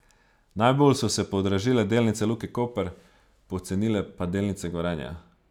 Najbolj so se podražile delnice Luke Koper, pocenile pa delnice Gorenja.